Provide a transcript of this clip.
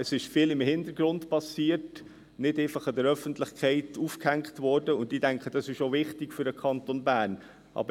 Es ist vieles im Hintergrund passiert, nicht einfach an der Öffentlichkeit aufgehängt worden, und ich denke, das ist für den Kanton Bern auch wichtig.